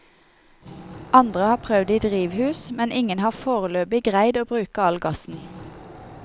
Andre har prøvd det i drivhus, men ingen har førebels greidd å bruke all gassen.